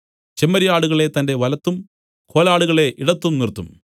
ചെമ്മരിയാടുകളെ തന്റെ വലത്തും കോലാടുകളെ ഇടത്തും നിർത്തും